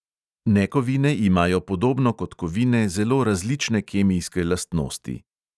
Nekovine imajo podobno kot kovine zelo različne kemijske lastnosti.